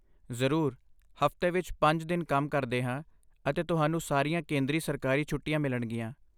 ਜ਼ਰੂਰ, ਹਫ਼ਤੇ ਵਿੱਚ ਪੰਜ ਦਿਨ ਕੰਮ ਕਰਦੇ ਹਾਂ ਅਤੇ ਤੁਹਾਨੂੰ ਸਾਰੀਆਂ ਕੇਂਦਰੀ ਸਰਕਾਰੀ ਛੁੱਟੀਆਂ ਮਿਲਣਗੀਆਂ